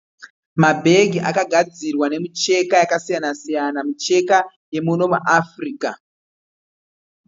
Mabhegi akagadzirwa nemicheka yakasiyana siyana. Micheka yemuno muAfrica.